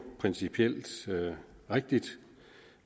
principielt rigtigt